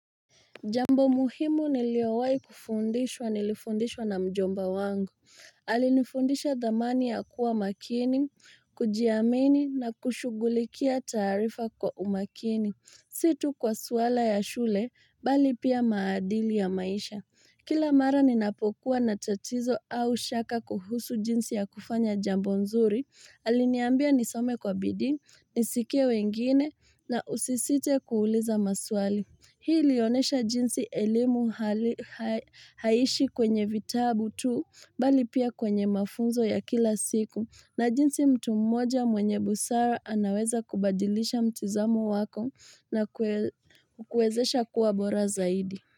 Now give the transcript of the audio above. Jambo muhimu niliowai kufundishwa nilifundishwa na mjomba wangu. Alinifundisha dhamani ya kuwa makini, kujiamini na kushughulikia tarifa kwa umakini. Situ kwa suaala ya shule, bali pia maadili ya maisha. Kila mara ninapokuwa na tatizo au shaka kuhusu jinsi ya kufanya jambo nzuri, aliniambia nisome kwa bidii, nisikie wengine na usisite kuuliza maswali. Hii lionesha jinsi elimu haishi kwenye vitabu tu bali pia kwenye mafunzo ya kila siku na jinsi mtu mmoja mwenye busara anaweza kubadilisha mtizamu wako na kukuezesha kuwa bora zaidi.